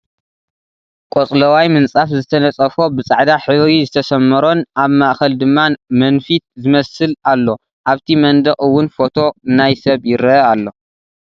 ቆፅላዋይ ምንፃፍ ዝተነፀፎ ብፃዕዳ ሕብሪ ዝተሰመሮን ኣብ ማእከል ድማ መንፊት ዝመስል ኣሎ ኣብቲ መንደቅ እውን ፎቶ ናይ ሰብ ይርአ ኣሎ።